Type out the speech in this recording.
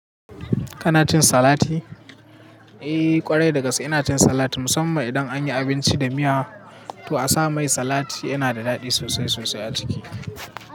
Kana cin salati? Eh kwarai dagaske ina cin salat musamman idan anyi abinci da miya to a sa mai salat yana daɗi sosai sosai a ciki.